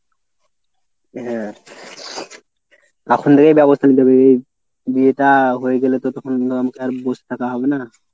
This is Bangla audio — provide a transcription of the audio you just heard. হ্যাঁ। এখন থেকে ব্যবস্থা করতে হবে। বিয়েটা হয়ে গেলে তো তখন আর বসে থাকা হবে না।